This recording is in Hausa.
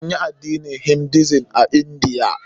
Anyi addinin Hinduism a Indiya.